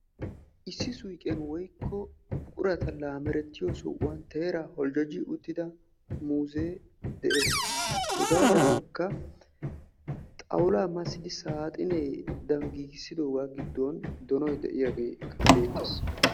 Issi suyqiyaan birata lamerettiyoo suyqqiyaan teeraa boljjojji uttida muuzee de'ees. hegaadinkka xawulaa massidi saaxinedan giigissidogaa giddon donoy de'iyaagee bettees.